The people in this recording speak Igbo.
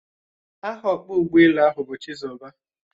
Aha ọkpọ ụgbọala ahụ bu Chizoba